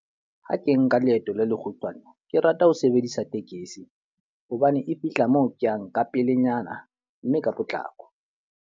Ha ke nka leeto le lekgutshwane, ke rata ho sebedisa tekesi. Hobane e fihla moo ke yang ka pelenyana, mme ka potlako.